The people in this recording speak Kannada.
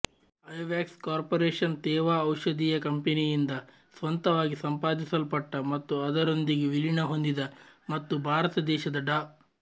ಐವ್ಯಾಕ್ಸ್ ಕಾರ್ಪೋರೇಶನ್ ತೇವಾ ಔಷಧೀಯ ಕಂಪನಿಯಿಂದ ಸ್ವಂತವಾಗಿ ಸಂಪಾದಿಸಲ್ಷಟ್ಟ ಮತ್ತು ಅದರೊಂದಿಗೆ ವಿಲೀನಹೊಂದಿದ ಮತ್ತು ಭಾರತ ದೇಶದ ಡಾ